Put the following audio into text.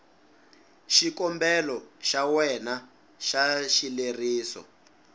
xikombelo xa wena xa xileriso